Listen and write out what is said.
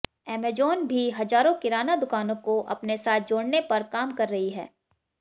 Amazon भी हजारों किराना दुकानों को अपने साथ जोडऩे पर काम कर रही है